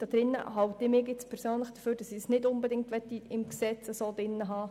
Aber mit diesem «und» möchte ich das nicht unbedingt im Gesetz haben.